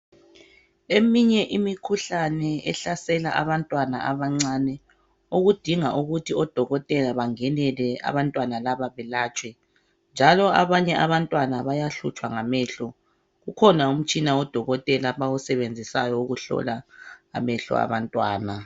Eminye imikhuhlane ehlasela abantwana abancane okudinga ukuthi odokotela bangenele abantwana labo belatshwe njalo abanye abantwana bayahlutshwa ngamehlo ukhona umtshina odokotela abawusebenzisayo ukuhlola amehlo abantwana.